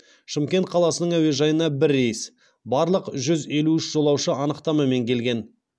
шымкент қаласының әуежайына бір рейс барлық жүз елу үш жолаушы анықтамамен келген